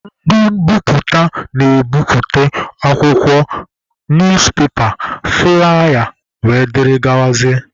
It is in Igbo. Ndị mbiputa na-ebiputa akwụkwọ, newspaper, flụlaya wdg.